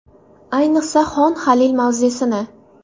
Ayniqsa, Xon Halil mavzesini.